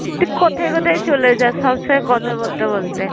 তুই কোথায় কোথায় চলে যাস সবসময় কথা বলতে বলতে।